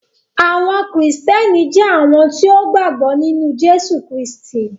Àwọn Kristiánì jẹ̀ awọn tí o gba gbọ̀ nínu Jésù Kristì.